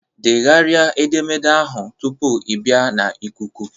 Degharịa edemede ahụ tupu ị bịa na ikuku!